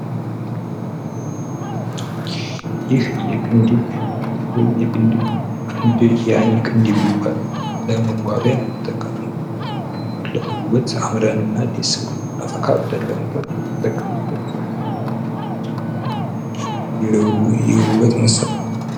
ይህ የቅንድብ ወይም ያይን ቅንድብ ይባላል። ለመዋቢያ የምጠቀመው ለዉብት አምረንና ደምቀን እንድንታይ የምንጠቀምበት የዉበት መሳሪያ ነው።